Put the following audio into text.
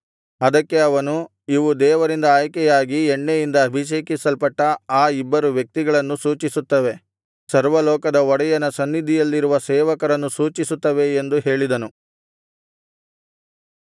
ಅದಕ್ಕೆ ಅವನು ಇವು ದೇವರಿಂದ ಆಯ್ಕೆಯಾಗಿ ಎಣ್ಣೆಯಿಂದ ಅಭಿಷೇಕಿಸಲ್ಪಟ್ಟ ಆ ಇಬ್ಬರು ವ್ಯಕ್ತಿಗಳನ್ನು ಸೂಚಿಸುತ್ತವೆ ಸರ್ವ ಲೋಕದ ಒಡೆಯನ ಸನ್ನಿಧಿಯಲ್ಲಿರುವ ಸೇವಕರನ್ನು ಸೂಚಿಸುತ್ತವೆ ಎಂದು ಹೇಳಿದನು